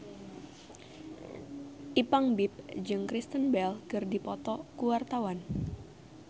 Ipank BIP jeung Kristen Bell keur dipoto ku wartawan